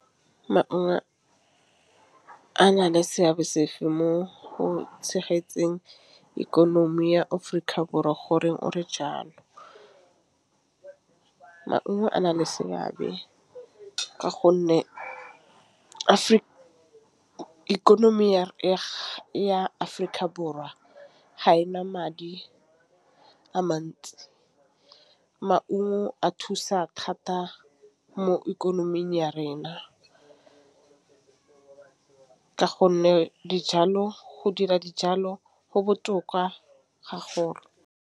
Maungo a na le seabe sefe mo go tshegetseng ikonomi ya Aforika Borwa gore ora jalo? Maungo a na le seabe ka gonne ikonomi ya Aforika Borwa ga ena madi a mantsi. Maungo a thusa thata mo ikonoming ya rena, ka gonne dijalo go dira dijalo go botoka ga .